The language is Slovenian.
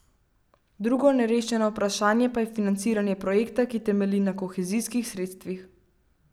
Drugo nerešeno vprašanje pa je financiranje projekta, ki temelji na kohezijskih sredstvih.